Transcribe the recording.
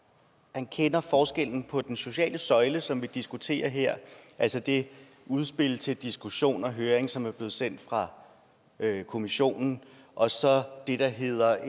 han kender forskellen på den sociale søjle som vi diskuterer her altså det udspil til diskussion og høring som er blevet sendt fra kommissionen og så det der hedder